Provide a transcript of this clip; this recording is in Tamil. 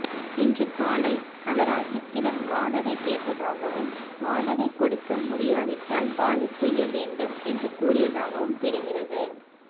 இன்று காலை அவர் அஜித்திடம் வாடகை கேட்டதாகவும் வாடகை கொடுக்க முடியாவிட்டால் காலி செய்ய வேண்டும் என்று கூறியதாகவும் தெரிகிறது